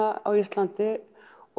á Íslandi